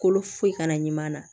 Kolo foyi kana ɲama na